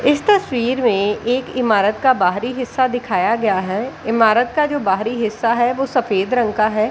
इस तस्वीर में एक इमारत का बाहरी हिस्सा दिखाया गया है इमारत का जो बाहरी हिस्सा है वो सफेद रंग का है।